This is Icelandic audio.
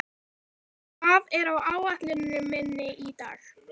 Vébjörg, hvað er á áætluninni minni í dag?